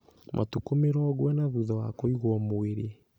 Matukũ mĩrongo ĩna thutha wa kũigwo mwĩrĩ.